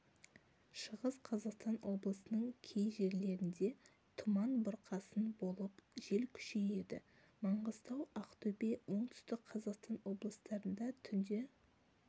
шығыс қазақстан облысының кей жерлерінде тұман бұрқасын болып жел күшейеді маңғыстау ақтөбе оңтүстік қазақстан облыстарында түнде